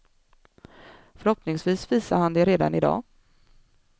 Förhoppningsvis visar han det redan i dag.